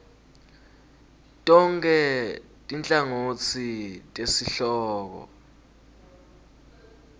tonkhe tinhlangotsi tesihloko